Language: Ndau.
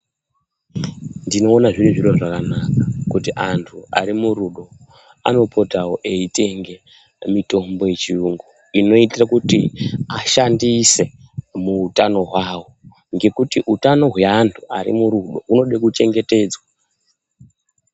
Ndinoona zviri zviro zvakanaka kuti antu arimurudo anopotawo eitenge mitombo yechiyungu inoite kuti ashandise muhutano hwawo ,ngekuti hweantu arimurudo unode kuchengetedzwa.